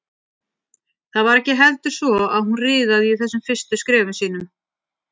Það var ekki heldur svo að hún riðaði í þessum fyrstu skrefum sínum.